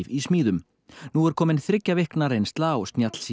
í smíðum nú er komin þriggja vikna reynsla á